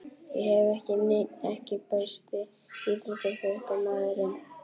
Ég hef ekki neinn EKKI besti íþróttafréttamaðurinn?